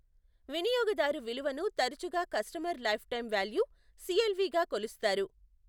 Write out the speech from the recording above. వినియోగదారు విలువను తరచుగా customer lifetime value, CLV గా కొలుస్తారు.